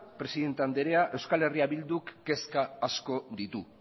presidente andrea eh bilduk kezka asko ditu